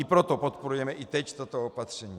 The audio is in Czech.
I proto podporujeme i teď toto opatření.